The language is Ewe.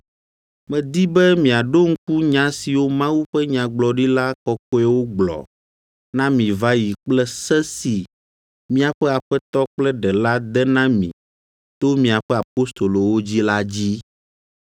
Medi be miaɖo ŋku nya siwo Mawu ƒe nyagblɔɖila kɔkɔewo gblɔ na mi va yi kple se si míaƒe Aƒetɔ kple Ɖela de na mi to miaƒe apostolowo dzi la dzi.